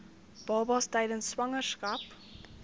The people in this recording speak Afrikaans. babas tydens swangerskap